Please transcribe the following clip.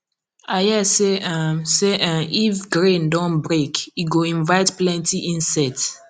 i hear say um say um if grain don break e go invite plenty insect